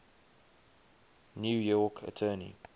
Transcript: new york attorney